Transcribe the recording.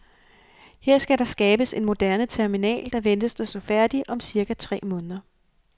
Her skal der skabes en moderne terminal, der ventes at stå færdig om cirka tre måneder.